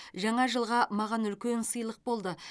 жаңа жылға маған үлкен сыйлық болды